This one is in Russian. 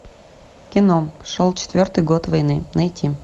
кино шел четвертый год войны найти